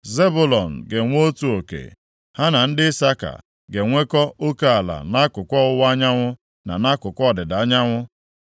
Zebụlọn ga-enwe otu oke; ha na ndị Isaka ga-enwekọ oke ala nʼakụkụ ọwụwa anyanwụ, na nʼakụkụ ọdịda anyanwụ.